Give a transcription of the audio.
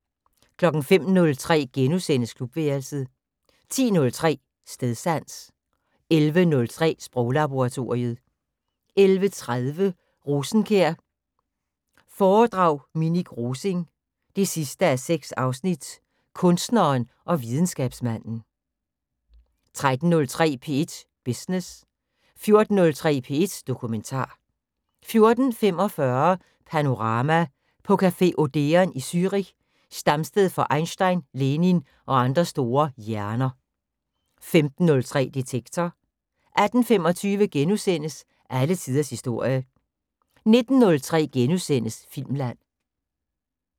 05:03: Klubværelset * 10:03: Stedsans 11:03: Sproglaboratoriet 11:30: Rosenkjær foredrag Minik Rosing 6:6 Kunstneren og videnskabsmanden 13:03: P1 Business 14:03: P1 Dokumentar 14:45: Panorama: På café Odeon i Zürich, stamsted for Einstein, Lenin og andre store hjerner 15:03: Detektor 18:25: Alle tiders historie * 19:03: Filmland *